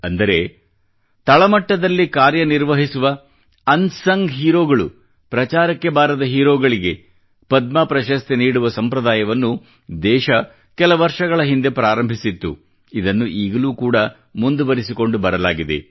ಅಂದರೆ ತಳ ಮಟ್ಟದಲ್ಲಿ ಕಾರ್ಯ ನಿರ್ವಹಿಸುವ ಪ್ರಚಾರಕ್ಕೆ ಬಾರದ ಹೀರೋಗಳಿಗೆ ಪದ್ಮ ಪ್ರಶಸ್ತಿ ನೀಡುವ ಸಂಪ್ರದಾಯವನ್ನು ದೇಶ ಕೆಲ ವರ್ಷಗಳ ಹಿಂದೆ ಪ್ರಾರಂಭಿಸಿತ್ತು ಇದನ್ನು ಈಗಲೂ ಕೂಡಾ ಮುಂದುವರಿಸಿಕೊಂಡು ಬರಲಾಗಿದೆ